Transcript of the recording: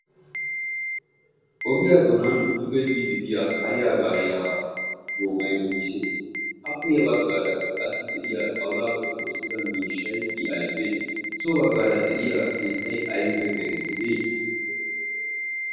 ogiyaa donan duge biidi diya hariyaa gaariyaa goomay woyse appe ya baggaarakka qassi de'iya xaulaappe oossatida miishshay i aybee so baggaara de'iya keettay aybippe keetetti dees.